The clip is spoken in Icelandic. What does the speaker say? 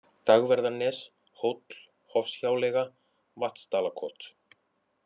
Dagverðarnes, Hóll, Hofshjáleiga, Vatnsdalakot